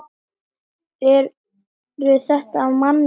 Eru þetta mannleg mistök?